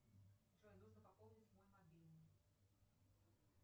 джой нужно пополнить мой мобильный